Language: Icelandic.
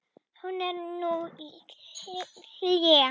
Hún er nú í hléi.